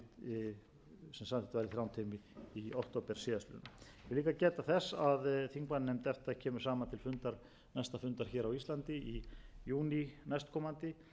í október síðastliðinn ég vil líka geta þess að þingmannanefnd efta kemur saman til næsta fundar hér á íslandi í júní næstkomandi og þá verður meðal annars fjallað um